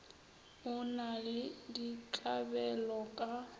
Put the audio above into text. o na le ditlabelo ka